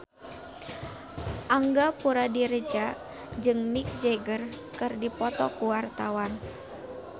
Angga Puradiredja jeung Mick Jagger keur dipoto ku wartawan